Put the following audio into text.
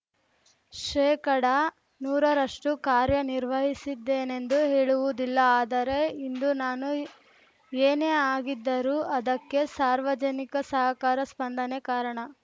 ಶೇಕಡನೂರರಷ್ಟುಕಾರ್ಯ ನಿರ್ವಹಿಸಿದ್ದೇನೆಂದು ಹೇಳುವುದಿಲ್ಲ ಆದರೆ ಇಂದು ನಾನು ಏನೇ ಆಗಿದ್ದರೂ ಅದಕ್ಕೆ ಸಾರ್ವಜನಿಕ ಸಹಕಾರ ಸ್ಪಂದನೆ ಕಾರಣ